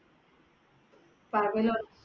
പകലോ